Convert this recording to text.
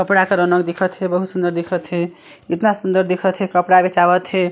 कपड़ा के रौनक दिखा थे बहुत सुन्दर दिखा थे इतना सुन्दर दिखत हे कपड़ा बेचावत हे।